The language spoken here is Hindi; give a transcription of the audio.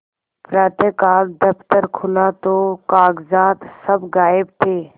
प्रातःकाल दफ्तर खुला तो कागजात सब गायब थे